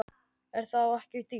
Er það ekki dýrt?